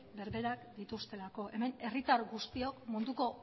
berberak dituztelako hemen herritar guztiok munduko